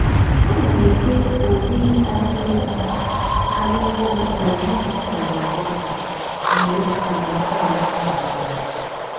ana m ete ọrị ara ehi ara ehi mgbe ha gbasara agbasa mgbe harmattan gasịrị.